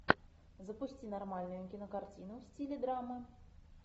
запусти нормальную кинокартину в стиле драмы